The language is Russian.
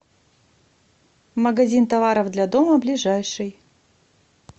магазин товаров для дома ближайший